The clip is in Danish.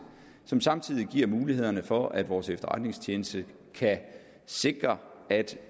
som samtidig giver mulighederne for at vores efterretningstjeneste kan sikre at